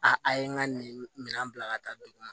A a ye n ka nin minɛn bila ka taa dugu